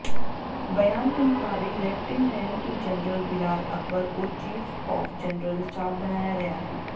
बयान के मुताबिक लेफ्टिनेंट जनरल बिलाल अकबर को चीफ ऑफ जनरल स्टाफ बनाया गया है